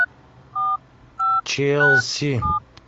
челси